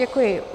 Děkuji.